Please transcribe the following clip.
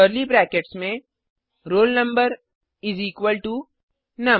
curly brackets में roll number इस equal to नुम